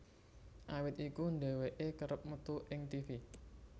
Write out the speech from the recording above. Awit iku dheweké kerep metu ing tivi